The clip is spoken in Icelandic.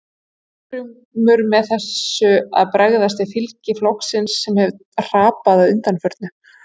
En er Steingrímur með þessu að bregðast við fylgi flokksins sem hefur hrapað að undanförnu?